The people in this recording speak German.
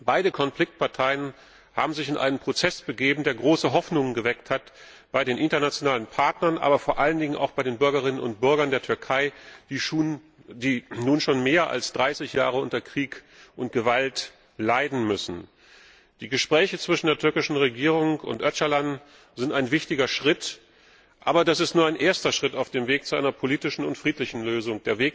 Beide Konfliktparteien haben sich in einen Prozess begeben, der große Hoffnungen geweckt hat bei den internationalen Partnern, aber vor allen Dingen auch bei den Bürgerinnen und Bürgern der Türkei, die nun schon mehr als 30 Jahre unter Krieg und Gewalt leiden müssen. Die Gespräche zwischen der türkischen Regierung und Öcalan sind ein wichtiger Schritt, aber das ist nur ein erster Schritt auf dem Weg zu einer politischen und friedlichen Lösung.